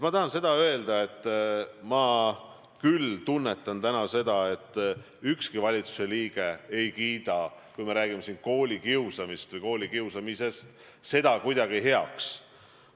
Ma tahan öelda, et ma küll tunnetan täna, et ükski valitsuse liige ei kiida koolikiusamist kuidagi heaks.